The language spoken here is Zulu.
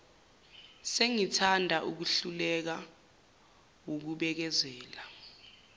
sengithanda ukuhluleka wukubekezela